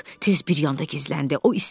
Hek tez bir yanda gizləndi.